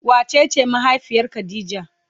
Wa cece mahaifiyar khadijah?